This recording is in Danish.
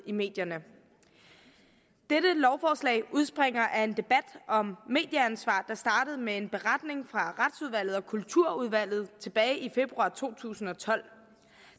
i medierne dette lovforslag udspringer af en debat om medieansvar der startede med en beretning fra retsudvalget og kulturudvalget tilbage i februar to tusind og tolv